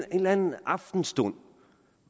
en eller anden aftenstund